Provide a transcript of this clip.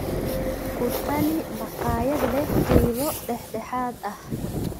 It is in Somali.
ku tali makhaayad leh qiime dhexdhexaad ah